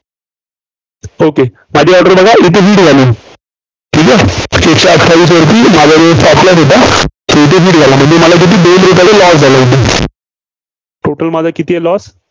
okay माझी order बघा. इथे hit झाली ठीक आहे? म्हणजे मला किती, दोन रुपयाचा Loss झाला. total माझा किती आहे? loss